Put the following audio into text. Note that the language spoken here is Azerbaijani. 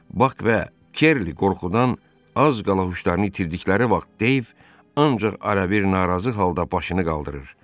Bak və Kerli qorxudan az qala huşlarını itirdikləri vaxt Deyv ancaq ara-bir narazı halda başını qaldırır.